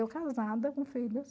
Eu casada com filhos.